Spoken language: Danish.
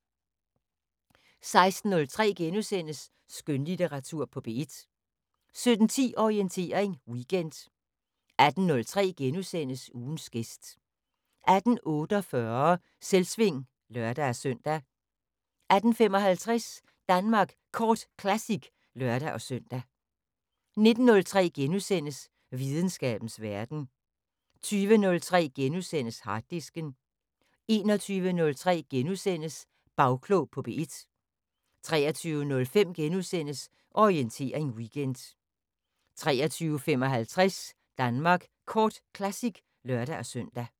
16:03: Skønlitteratur på P1 * 17:10: Orientering Weekend 18:03: Ugens gæst * 18:48: Selvsving (lør-søn) 18:55: Danmark Kort Classic (lør-søn) 19:03: Videnskabens Verden * 20:03: Harddisken * 21:03: Bagklog på P1 * 23:05: Orientering Weekend * 23:55: Danmark Kort Classic (lør-søn)